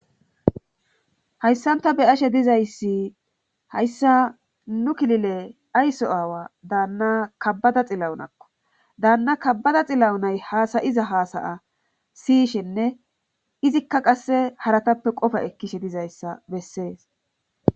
hayssanta beyashe dizayssi hayssa nu kilile ayso aawa daanna kabbada xilawunakko daanna kabbada xilawu nay haasayiza haasaya siyishenne izikka qasse haratappe qofa ekkishe dizayssa bessees